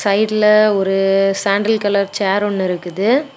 சைட்ல ஒரு sandal colour chair ஒன்னு இருக்குது.